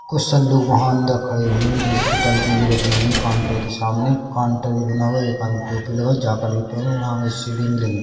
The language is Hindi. कुछ सन्दुक वहा अंदर खड़े हुए है दूध की टंकी भी रखी हुई है काउंटर के सामने काउंटर भी बना हुआ है एक आदमी टोपी लगाए जाकेट भी पहने है यहाँ आगे सीढ़ी भी लगी --